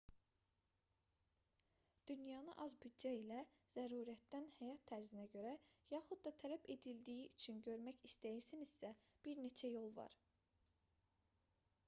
dünyanı az büdcə ilə zərurətdən həyat tərzinizə görə yaxud da tələb edildiyi üçün görmək istəyirsinizsə bir neçə yol var